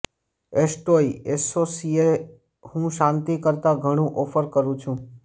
એસ્ટોય એસોસિયે હું શાંતિ કરતાં ઘણું ઓફર કરું છું